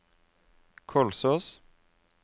Kolsås